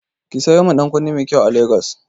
Ki sayo min ɗankunne mai kyai a Lagos.